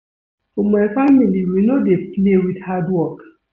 For my family we no dey play with hard work.